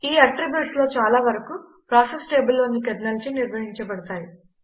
ఈ అట్రిబ్యూట్స్ లో చాలా వరకు ప్రాసెస్ టేబుల్లోని కెర్నెల్చే నిర్వహించబడతాయి